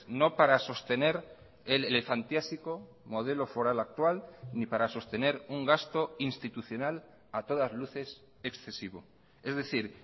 no para sostener el elefantiásico modelo foral actual ni para sostener un gasto institucional a todas luces excesivo es decir